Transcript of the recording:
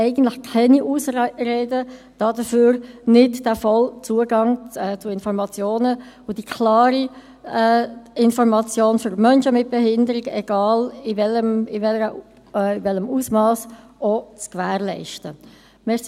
Eigentlich gibt es keine Ausreden, weshalb nicht auch der vollumfängliche Zugang zu Informationen und die klare Information für Menschen mit Behinderung, egal in welchem Ausmass, zu gewährleisten ist.